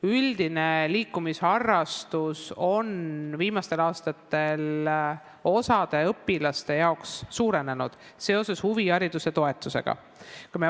Üldise liikumisharrastusega tegeletakse viimastel aastatel osa õpilaste seas rohkem, seoses huvihariduse toetusega.